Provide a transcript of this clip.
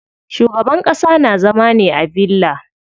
Shugaban ƙasa na zama ne a villa.